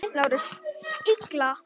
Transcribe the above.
LÁRUS: Illa!